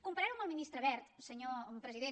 comparar ho amb el ministre wert senyor president